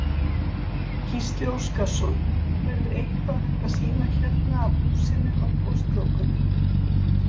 Gísli Óskarsson: Verður eitthvað hægt að sýna hérna af húsinu á Goslokunum?